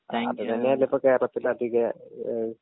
അത് തന്നെയല്ലേ ഇപ്പൊ കേരളത്തിലതിക ഏ.